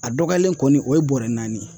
A dɔgɔyalen kɔni o ye bɔɔrɛ naani ye.